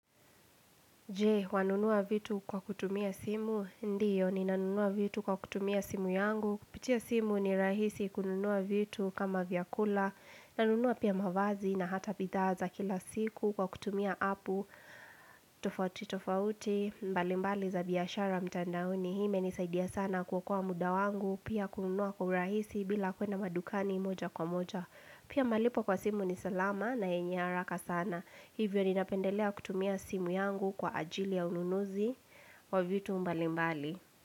Je, wanunua vitu kwa kutumia simu. Ndiyo, ninanunua vitu kwa kutumia simu yangu. Kupitia simu ni rahisi kununua vitu kama vyakula. Nanunua pia mavazi na hata bidhaa za kila siku kwa kutumia apu. Tofauti, tofauti, mbali mbali za biashara mtandaoni. Hii imenisaidia sana kuokoa muda wangu, pia kununua kwa urahisi bila kwenda madukani moja kwa moja. Pia malipo kwa simu ni salama na yenye haraka sana. Hivyo ninapendelea kutumia simu yangu kwa ajili ya ununuzi wa vitu mbalimbali.